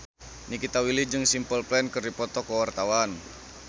Nikita Willy jeung Simple Plan keur dipoto ku wartawan